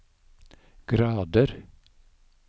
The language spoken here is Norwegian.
grader